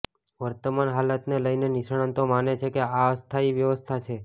વર્તમાન હાલતને લઇને નિષ્ણાંતો માને છે કે આ અસ્થાયી વ્યવસ્થા છે